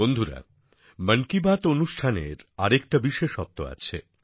বন্ধুরা মন কি বাত অনুষ্ঠানের আরেকটা বিশেষত্ব আছে